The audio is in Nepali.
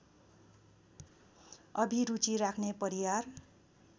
अभिरुचि राख्‍ने परियार